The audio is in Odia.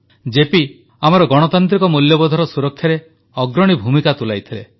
ଜେପି ଆମର ଗଣତାନ୍ତ୍ରିକ ମୂଲ୍ୟବୋଧର ସୁରକ୍ଷାରେ ଅଗ୍ରଣୀ ଭୂମିକା ତୁଲାଇଥିଲେ